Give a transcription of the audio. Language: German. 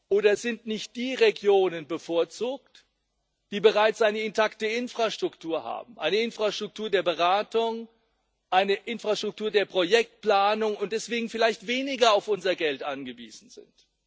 Oder sind nicht die Regionen bevorzugt, die bereits eine intakte Infrastruktur haben eine Infrastruktur der Beratung, eine Infrastruktur der Projektplanung und deswegen vielleicht weniger auf unser Geld angewiesen sind?